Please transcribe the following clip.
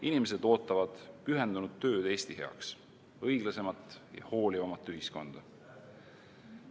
Inimesed ootavad pühendunud tööd Eesti heaks, õiglasemat ja hoolivamat ühiskonda.